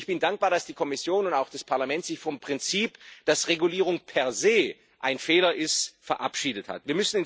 Ich bin dankbar dafür, dass die Kommission und auch das Parlament sich vom Prinzip, dass Regulierung per se ein Fehler ist, verabschiedet haben.